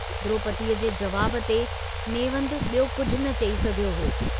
द्रोपदीअ जे जवाब ते नेवंदु यो कुझ न चई सघियो हो।